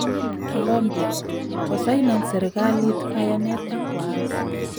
Colombia: Kosainan serikalit kayanet ak waasi